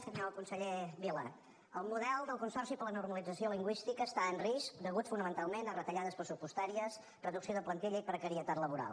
senyor conseller vila el model del consorci per a la normalització lingüística està en risc a causa fonamentalment de retallades pressupostàries reducció de plantilla i precarietat laboral